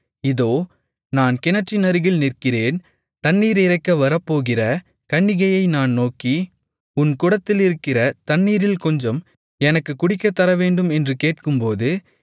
இதோ நான் கிணற்றினருகில் நிற்கிறேன் தண்ணீர் இறைக்க வரப்போகிற கன்னிகையை நான் நோக்கி உன் குடத்திலிருக்கிற தண்ணீரில் கொஞ்சம் எனக்குக் குடிக்கத்தரவேண்டும் என்று கேட்கும்போது